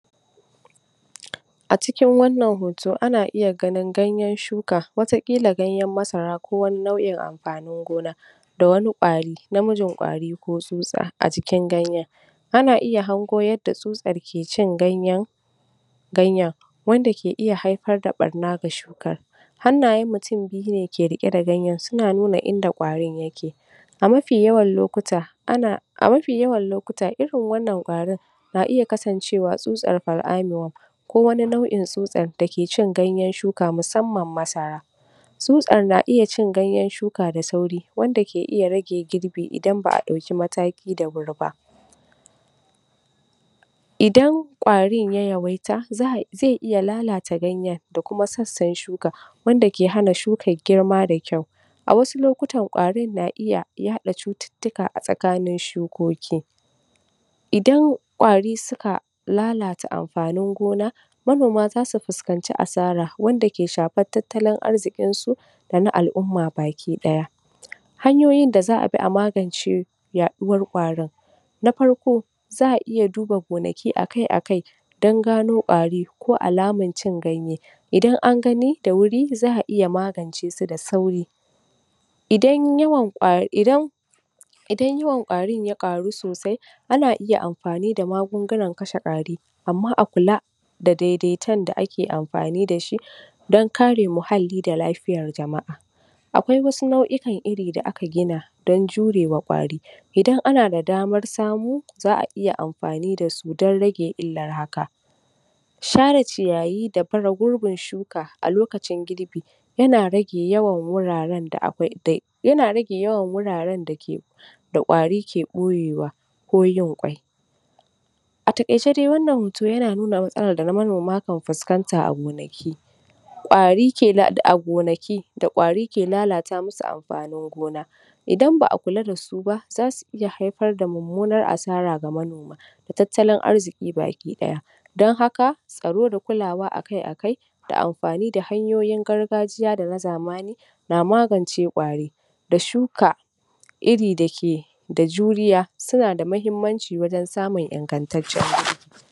A cikin wanna hoto ana iya ganin ganyen shuka, wataƙilla ganyenmasara ko wani nau'in amfanin gona, dawani ƙwari, namijin ƙwari ko tsutsa a jikn ganyen. Ana iya hango yadda tsutsar ke cin ganyen ganyen, wanda ke iya haifar da ɓanna ga shukar. Hannayen mutum biyu suke rike da ganyen suna nuna unda ƙwarin yake. A mafi yawan lokuta, ana a mafi yawan lokuta irin wannan ƙwarin na iya kasancewa tsutsar far'anuwan ko wani nau'in tsutsar da ke cin ganyen shukar musamman masara. Tsutsar na iya cin ganyen shuka da sauri wanda ke iya rage girbi idan ba'a dauki mataki da wuri ba. Idan ƙwarin ya yawaita zai iya lalata ganyen da kuma sassan shuka wanda ke hana shukar girma da kyau, a wasu lokutan ƙarin na iya yaɗa cututtuka a tsakani shukoki. Idan ɗwari suka, lalata amfanin gona, manoma za su fuskanci asara wanda zai shafi tattalin arzikin su da na al'umma baki ɗaya. Hanyoyin da za'a bi a magance yaɗuwar ƙwarin; Na Farko, za'a iya duba gonaki akai-akai, don gano ƙwari ko alamar cin ganye, idan an gani da wuri za'a iya magance su da sauri./ Idan yawan ƙwari, idan yawan ƙwarin ya ƙaru sosai, ana iya amfani da magungunan kashe ƙwari, amma a kula da daidaiton da ake amfani da shi, don kare muhalli da lafiyar jama'a, akwai wasu nau'ikan iri da aka gina, don jurewa ƙwari, idana ana da damar samu, za'a iya amfani da su don rage illar haka. Share ciyayi da baje gurbin shuka, a lokacin girbi. yana rage yawan irin wuraren da akwai yana rage yawan wuraren da ke, ƙwari ke ɓoyewa ko yin ƙwai. A taƙaice dai wannan hoto yana nuna matsalar da manoma kan fuskanta a gonaki, ƙwari kenan a gonaki, da ƙwari ke lalata musus amfanin gona. Idan ba'a kua da su ba za su iya haifar da mummunar asara ga manoma, da tattalin arziƙi baki ɗaya, don haka tsaro da kulawa akai-akai da amafani da hanyoyin gargajiya da na zamani, na magance ƙwari da shuka iri da ke da juriya, suna da muhimmanci wajen samun ingantaccen